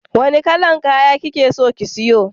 Wanna kalan kaya kikeso ki siya?